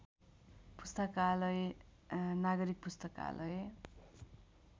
पुस्तकालय नागरिक पुस्तकालय